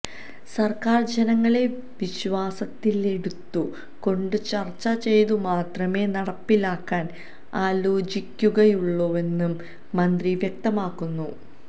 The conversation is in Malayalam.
സര്ക്കാര് ജനങ്ങളെ വിശ്വാസത്തിലെടുത്തു കൊണ്ട്ചര്ച്ച ചെയ്തു മാത്രമേ നടപ്പിലാക്കാന് ആലോചിക്കുകയുള്ളൂവെന്നും മന്ത്രി വ്യക്തമാക്കുന്നു